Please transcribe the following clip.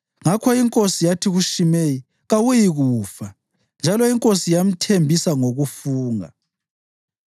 Ngakho inkosi yathi kuShimeyi, “Kawuyikufa.” Njalo inkosi yamthembisa ngokufunga.